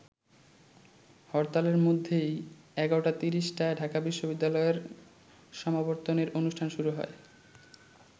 হরতালের মধ্যেই ১১:৩০টায় ঢাকা বিশ্ববিদ্যালয়ের সমাবর্তনের অনুষ্ঠান শুরু হয়।